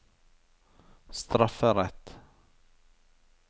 strafferett